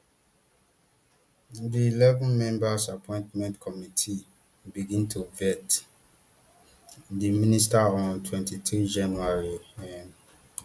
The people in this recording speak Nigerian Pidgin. di eleven member appointment committee begin to vet di ministers on twenty-three january um